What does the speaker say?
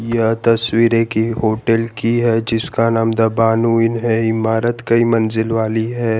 यह तस्वीर एक होटल की है जिसका नाम द भानु इन है इमारत कई मंजिल वाली है।